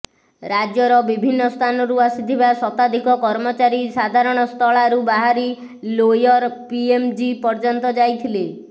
ରାଜ୍ୟର ବିଭିନ୍ନ ସ୍ଥାନରୁ ଆସିଥିବା ଶତାଧିକ କର୍ମଚାରୀ ଧାରଣାସ୍ଥଳାରୁ ବାହାରି ଲୋୟର ପିଏମ୍ଜି ପର୍ଯ୍ୟନ୍ତ ଯାଇଥିଲେ